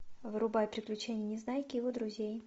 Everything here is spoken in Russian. врубай приключения незнайки и его друзей